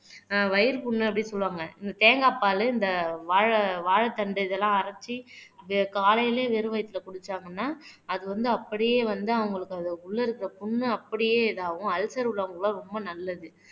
வயிறு புண்ணு அப்படீன்னு சொல்லுவாங்க இந்த தேங்காய் பாலு இந்த வாழை வாழைத்தண்டு இதெல்லாம் அரைச்சு காலையிலேயே வெறும் வயித்துல குடிச்சாங்கன்னா அது வந்து அப்படியே வந்து அவங்களுக்கு அது உள்ளே இருக்கிற புண்ணு அப்படியே இதாகும் அல்சர் உள்ளவங்களுக்கு எல்லாம் ரொம்ப நல்லது.